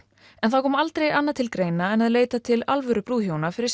en það kom aldrei annað til greina en að leita til alvöru brúðhjóna fyrir